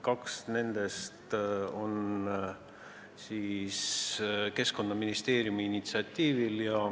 Kaks nendest on Keskkonnaministeeriumi initsiatiivil.